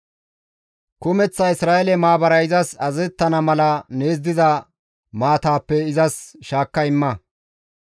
Kumeththa Isra7eele maabaray izas azazettana mala nees diza maatappe izas shaakka imma.